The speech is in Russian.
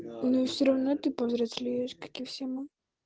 ну и все равно ты повзрослеешь как и все мы